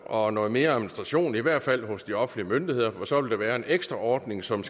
og noget mere administration i hvert fald hos de offentlige myndigheder for så vil der være en ekstra ordning som